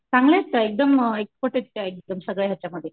चांगल्या आहेत का एकदम एक्सपर्ड आहेत का सगळ्या हेच्यामध्ये.